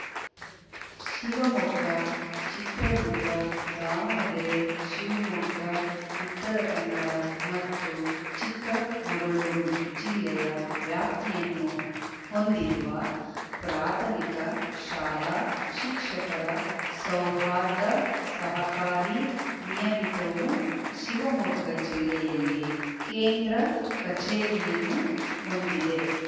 ಶಿವಮೊಗ್ಗ ಚಿತ್ರದುರ್ಗ ದಾವಣಗೆರೆ ಶಿವಮೊಗ್ಗ ಉತ್ತರಕನ್ನಡ ಮತ್ತು ಚಿಕ್ಕಮಗಳೂರು ಜಿಲ್ಲೆಯ ವ್ಯಾಪ್ತಿಯನ್ನು ಹೊಂದಿರುವ ಪ್ರಾಥಮಿಕ ಶಾಲಾ ಶಿಕ್ಷಕರ ಸೌಹಾರ್ದ ಸಹಕಾರಿ ನಿಯಮಿತವು ಶಿವಮೊಗ್ಗ ಜಿಲ್ಲೆಯಲ್ಲಿ ಕೇಂದ್ರ ಕಚೇರಿಯನ್ನು ಹೊಂದಿದೆ